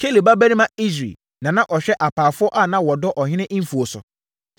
Kelub babarima Esri na na ɔhwɛ apaafoɔ a na wɔdɔ ɔhene mfuo so.